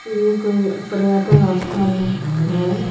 ये कोई पर्यटन स्थल है।